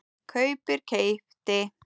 kaupir- keypti